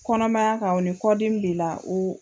Kɔnɔmaya kɔnɔ ni kɔdimi b'i la